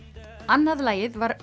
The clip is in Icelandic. annað lagið var